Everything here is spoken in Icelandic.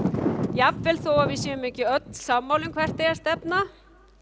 jafnvel þó að við séum ekki öll sammála um hvert eigi að stefna